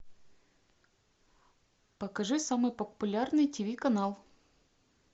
покажи самый популярный тв канал